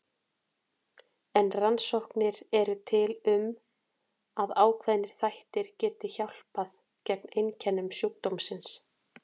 En rannsóknir eru til um að ákveðnir þættir geti hjálpað til gegn einkennum sjúkdómsins.